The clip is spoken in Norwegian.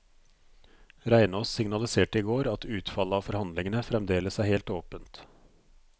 Reinås signaliserte i går at utfallet av forhandlingene fremdeles er helt åpent.